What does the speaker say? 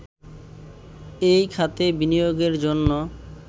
এই খাতে বিনিয়োগের জন্য